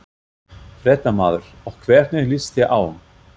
Fréttamaður: Og hvernig líst þér á?